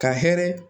Ka hɛrɛ